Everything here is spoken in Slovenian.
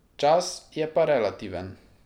Čas je pa relativen.